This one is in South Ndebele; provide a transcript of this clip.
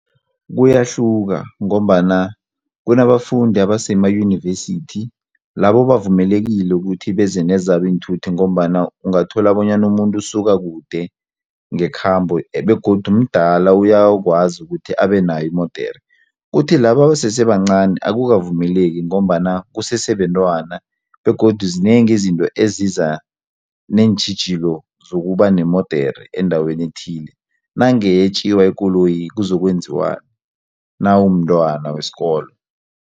Kuyahluka ngombana kunabafundi abasemayunivesithi labo bavumelekile ukuthi beze nezabo iinthuthi ngombana ungathola bonyana umuntu usuka kude ngekhambo begodu mdala uyakwazi ukuthi abe nayo imodere, kuthi laba abasesebancani akukavumeleki ngombana kusese bentwana begodu zinengi izinto eziza neentjhijilo zokuba nemodere endaweni ethile nange yetjiwa ikoloyi kuzokwenziwani nawumntwana wesikolo.